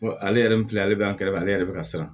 Ale yɛrɛ min filɛ ale bɛ an kɛrɛfɛ ale yɛrɛ bɛ ka siran